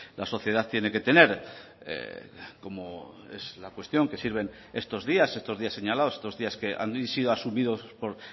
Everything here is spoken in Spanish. la sociedad tiene que tener como es la cuestión que sirven estos días estos días señalados estos días que han sido asumidos por